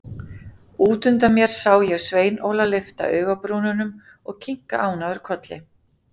Út undan mér sá ég Svein Óla lyfta augabrúnunum og kinka ánægður kolli.